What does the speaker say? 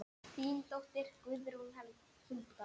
Þín dóttir Guðrún Hulda.